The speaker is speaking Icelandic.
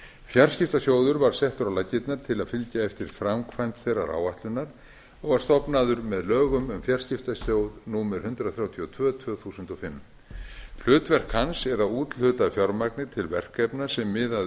fjarskiptasjóður var settur á laggirnar til að fylgja eftir framkvæmd þeirrar áætlunar og var stofnaður með lögum um fjarskiptasjóð númer hundrað þrjátíu og tvö tvö þúsund og fimm hlutverk hans er að úthluta fjármagni til verkefna sem miða að